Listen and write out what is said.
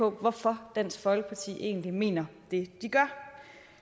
af hvorfor dansk folkeparti egentlig mener det de gør